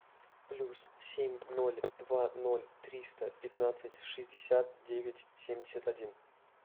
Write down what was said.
плюс семь ноль два ноль триста пятнадцать шестьдесят девять семьдесят один